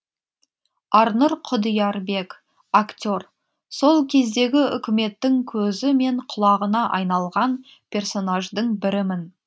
арнұр құдиярбек актер сол кездегі үкіметтің көзі мен құлағына айналған персонаждың бірімін